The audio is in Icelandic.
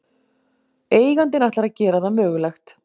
Eigandinn ætlar að gera það mögulegt